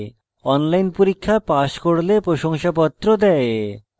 online পরীক্ষা pass করলে প্রশংসাপত্র দেয়